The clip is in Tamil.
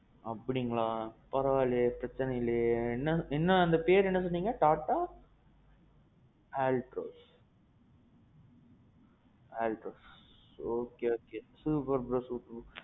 அப்படீங்களா? பரவா இல்லையே. பிரச்சனை இல்லையே இன்னும் அந்த பேரு என்ன சொன்னிங்க? TATA Altroz. Altroz. Okay okay. super bro super bro.